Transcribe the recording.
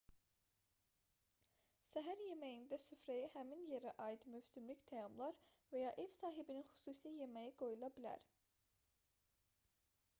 səhər yeməyində süfrəyə həmin yerə aid mövsümlük təamlar və ya ev sahibinin xüsusi yeməyi qoyula bilər